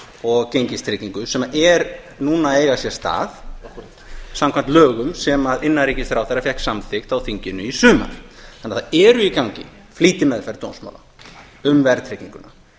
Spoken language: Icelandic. og gengistryggingu sem er núna að eiga sér stað samkvæmt lögum sem innanríkisráðherra fékk samþykkt á þinginu í sumar það er því í gangi flýtimeðferð dómsmála um verðtrygginguna